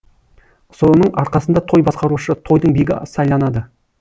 соның арқасында той басқарушы тойдың бегі сайланады